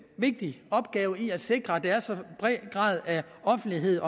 vigtig opgave i at sikre at der er så høj en grad af offentlighed